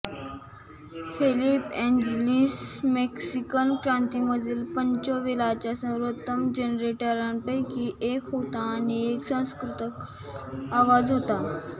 Felipe Angeles Mexican क्रांतीमधील Pancho व्हिलाच्या सर्वोत्तम जनरेटरांपैकी एक होता आणि एक सुसंस्कृत आवाज होता